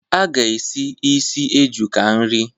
A ga-esi ísì eju ka nri.